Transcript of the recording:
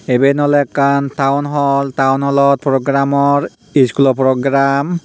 iben oloey ekkan town hall town hallot program or iskulo program.